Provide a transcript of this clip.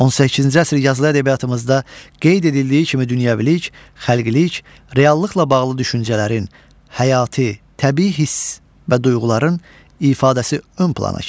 18-ci əsr yazılı ədəbiyyatımızda qeyd edildiyi kimi dünyəvilik, xəlqilik, reallıqla bağlı düşüncələrin, həyati, təbii hiss və duyğuların ifadəsi ön plana keçir.